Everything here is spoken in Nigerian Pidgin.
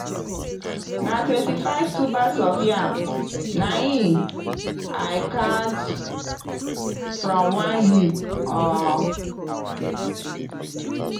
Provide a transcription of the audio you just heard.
na 25 tubers of yam na in i count from one hip um.